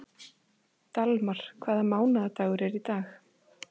Dalmar, hvaða mánaðardagur er í dag?